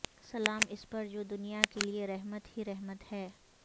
سلام اس پر جو دنیا کے لئے رحمت ہی رحمت ہے